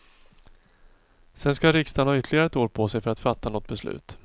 Sedan ska riksdagen ha ytterligare ett år på sig för att fatta något beslut.